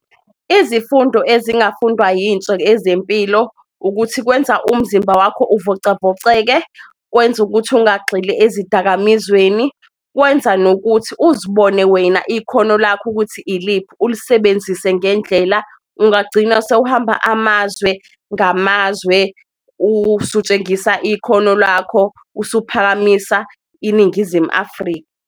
Izifundo ezingafundwa yintsha ezempilo ukuthi kwenza umzimba wakho ukuvocavoceke, kwenza ukuthi ingagxili ezidakamizweni, kwenza nokuthi uzibone wena ikhona lakho ukuthi iliphi, ulisebenzise ngendlela. Ungagcina sewuhamba amazwe ngamazwe usutshengisa ikhono lakho usuphakamisa iNingizimu Afrika.